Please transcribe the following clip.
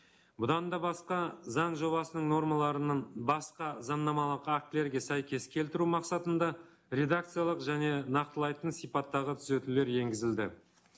бұдан да басқа заң жобасының нормаларының басқа заңнамалық актілерге сәйкес келтіру мақсатында редакциялық және нақтылайтын сипаттағы түзетулер енгізілді